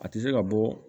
A tɛ se ka bɔ